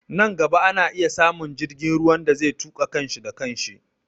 Nan gaba ana iya samun jirgin ruwan da zai tuƙa kan shi da kan shi